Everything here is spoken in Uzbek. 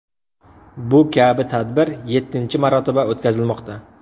Bu kabi tadbir yettinchi marotaba o‘tkazilmoqda .